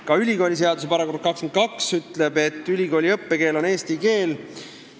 Ka ülikooliseaduse § 22 ütleb, et ülikooli õppekeel on eesti keel.